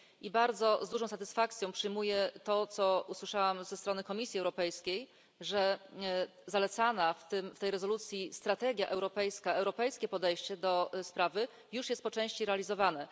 I z dużą satysfakcją przyjmuję to, co usłyszałam ze strony Komisji Europejskiej, że zalecana w tej rezolucji strategia europejska, europejskie podejście do sprawy już jest po części realizowane.